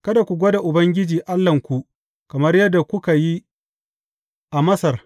Kada ku gwada Ubangiji Allahnku kamar yadda kuka yi a Massa.